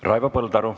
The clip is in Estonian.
Raivo Põldaru.